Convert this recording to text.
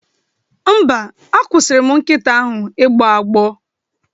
Mba, akwụsịrị m nkita ahụ ịgbọ agbọ